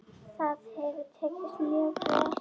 Það hefur tekist mjög vel.